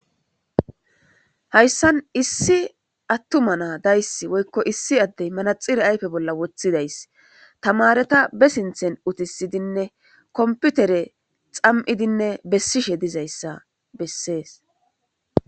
Haysan issi attama na daysi woyko issi addey na ayfeza bolla manaxire wothidays tamareta ba sinthan uttisidinne kompiter xam'idinne besishe dozaysa besses.